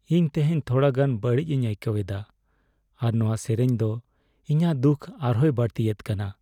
ᱤᱧ ᱛᱮᱦᱮᱧ ᱛᱷᱚᱲᱟᱜᱟᱱ ᱵᱟᱹᱲᱤᱡᱤᱧ ᱟᱹᱭᱠᱟᱹᱣᱮᱫᱼᱟ ᱟᱨ ᱱᱚᱣᱟ ᱥᱮᱨᱮᱧ ᱫᱚ ᱤᱧᱟᱜ ᱫᱩᱠᱷ ᱟᱨ ᱦᱚᱸᱭ ᱵᱟᱹᱲᱛᱤᱭᱮᱫ ᱠᱟᱱᱟ ᱾